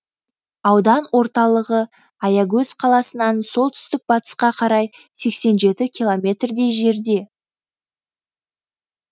аудан орталығы аягөз қаласынан солтүстік батысқа қарай сексен жеті километр дей жерде